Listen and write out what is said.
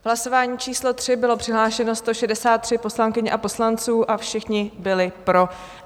V hlasování číslo 3 bylo přihlášeno 163 poslankyň a poslanců a všichni byli pro.